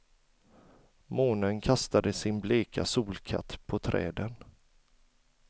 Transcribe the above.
Månen kastade sin bleka solkatt på träden.